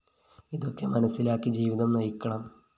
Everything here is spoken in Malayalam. ഇതൊക്കെ മനസ്സിലാക്കി ജീവിതം നയിക്കണം